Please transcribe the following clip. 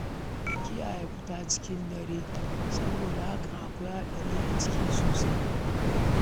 Ku kiyaye fita cikin dare, saboda hakan akwai haɗari sosai a ciki sosai